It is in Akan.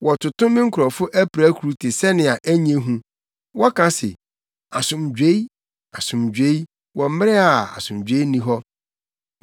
Wɔtoto me nkurɔfo apirakuru te sɛnea ɛnyɛ hu. Wɔka se, ‘Asomdwoe, asomdwoe’ wɔ mmere a asomdwoe nni hɔ.